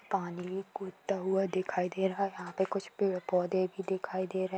पानी कूदता हुआ दिखाई दे रहा है यहाॅं पर कुछ पेड़-पौधे भी दिखाई दे रही हैं।